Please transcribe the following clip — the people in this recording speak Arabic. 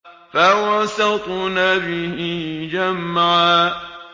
فَوَسَطْنَ بِهِ جَمْعًا